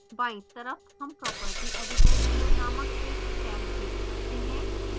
बायीं तरफ हम property editor window नामक एक टैब देख सकते हैं